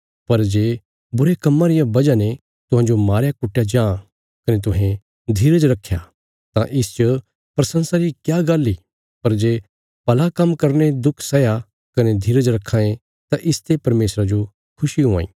पर जे बुरे कम्मां रिया वजह ने तुहांजो मारयाकुट्टया जां कने तुहें धीरज रक्खया तां इसच प्रशंसा री क्या गल्ल इ पर जे भला काम्म करीने दुख सैया कने धीरज रक्खां ये तां इसते परमेशरा जो खुशी हुआं इ